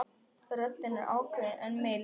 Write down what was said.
Röddin er ákveðin en mild.